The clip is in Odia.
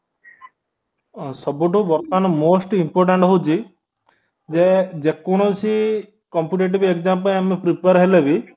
ଅଂ ସବୁଠୁ ବର୍ତ୍ତମାନ most important ହଉଛି ଜେ ଯେକୌଣସି competitive examପାଇଁ ଆମେ prepare ହେଲେବି